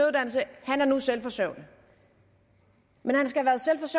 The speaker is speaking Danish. han er nu selvforsørgende men